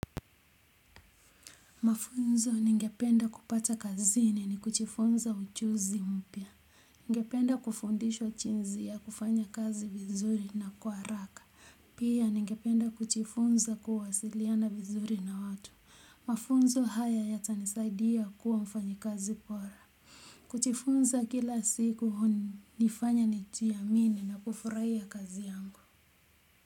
Mafunzo ningependa kupata kazini ni kujifunza ujuzi mpya ningependa kufundishwa jinzi ya kufanya kazi vizuri na kwa haraka pia ningependa kujifunza kuwasiliana vizuri na watu mafunzo haya yata nisaidia kuwa mfanyi kazi bora kujifunza kila siku hun nifanya ni jiamini na kufurahia kazi yangu.